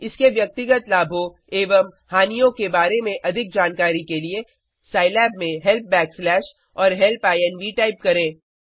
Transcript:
इसके व्यक्तिगत लाभों एवं हानियों के बारे में अधिक जानकारी के लिये साईलैब में हेल्प बैकस्लैश और हेल्प इन्व टाइप करें